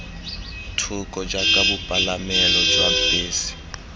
thoko jaaka bopalamelo jwa bese